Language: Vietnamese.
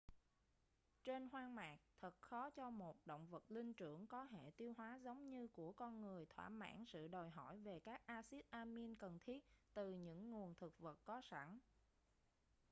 trên hoang mạc thật khó cho một động vật linh trưởng có hệ tiêu hóa giống như của con người thỏa mãn sự đòi hỏi về các axít amin cần thiết từ những nguồn thực vật có sẵn